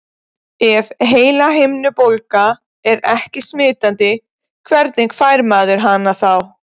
Ef heilahimnubólga er ekki smitandi, hvernig fær maður hana þá?